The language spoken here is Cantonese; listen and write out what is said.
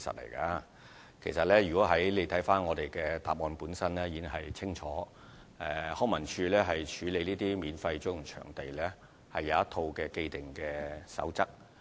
如果議員看看主體答覆，便會清楚知道康文署在處理免費租用場地的申請時，有一套既定守則。